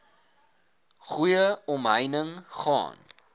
goeie omheining gaan